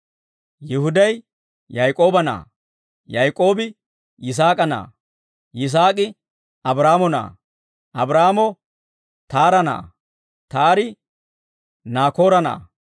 Yihuday Yaak'ooba na'aa; Yaak'oobi Yisaak'a na'aa; Yisaak'i Abraahaamo na'aa; Abraahaamo Taara na'aa; Taari Naakoora na'aa;